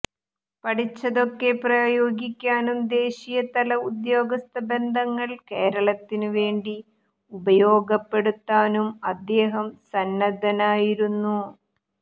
പഠിച്ചതൊക്കെ പ്രയോഗിക്കാനും ദേശീയതല ഉദ്യോഗസ്ഥ ബന്ധങ്ങൾ കേരളത്തിന് വേണ്ടി ഉപയോഗപ്പെടുത്താനും അദ്ദേഹം സന്നദ്ധനായിരുന്നു